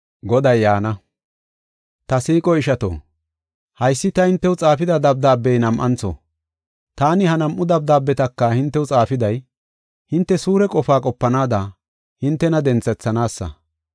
Ta siiqo ishato, haysi ta hintew xaafida dabdaabey nam7antho. Taani ha nam7u dabdaabetaka hintew xaafiday, hinte suure qofaa qopanaada hintena denthethanaasa.